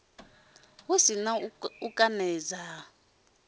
hu si na u konadzea